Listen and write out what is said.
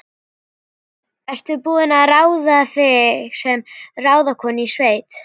Ertu búin að ráða þig sem ráðskonu í sveit?